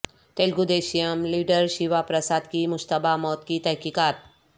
Telugu Desam leader Shiva Prasad کی مشتبہ موت کی تحقیقات